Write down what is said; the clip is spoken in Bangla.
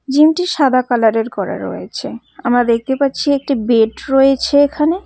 জিম -টি সাদা কালার -এর করা রয়েছে আমরা দেখতে পাচ্ছি একটি বেড রয়েছে এখানে।